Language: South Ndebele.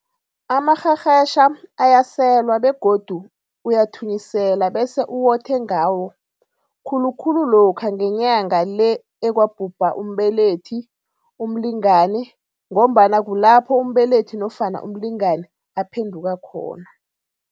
Amarherhetjha ayaselwa begodu uyathunyisela bese uwothe ngawo khulu khulu lokha ngeNyanga le ekwabhubha umbelethi, umlingani ngombana kulapho umbelethi nofana umlingani aphenduka khona.